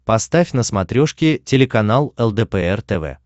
поставь на смотрешке телеканал лдпр тв